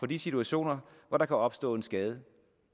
de situationer hvor der kan opstå en skade